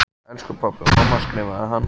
Elsku pabbi og mamma skrifaði hann.